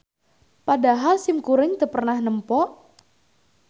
Padahal simkuring teu pernah nempo